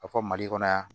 A fɔ mali kɔnɔ yan